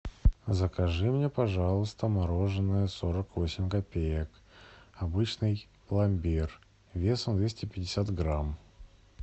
закажи мне пожалуйста мороженое сорок восемь копеек обычный пломбир весом двести пятьдесят грамм